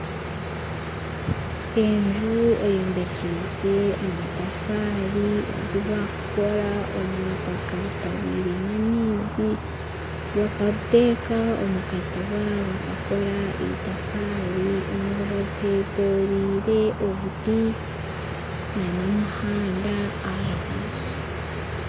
Enju eyombekise amatafaari agu bakukora omwitaka ritabwire amaizi bakariteeka omukatiba bakakora itafaari omurubaju hetoreire obuti nana omuhanda aharubaju